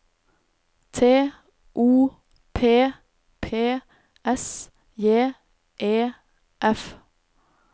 T O P P S J E F